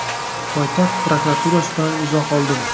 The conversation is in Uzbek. poytaxt prokuraturasidan izoh oldim.